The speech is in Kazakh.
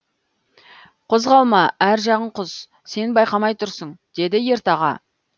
қозғалма әр жағың құз сен байқамай тұрсың деді ертаға